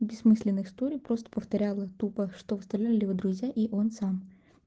бессмысленный история просто повторяла тупо что выстрелили в друзья и он сам